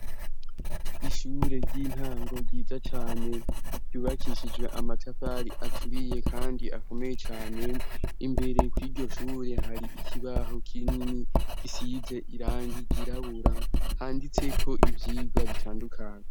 Ishure ry'intango ryiza cane ryubakishijwe amatafari aturiye kandi akomeye cane, imbere kw' iryo shure hari ikibaho kinini gisize irangi ryirabura handitseko ivyigwa bitandukanye.